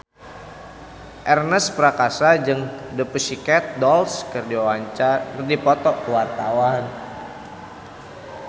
Ernest Prakasa jeung The Pussycat Dolls keur dipoto ku wartawan